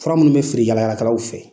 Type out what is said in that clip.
Fura minnu bɛ feere yaala yaalakɛlaw fɛ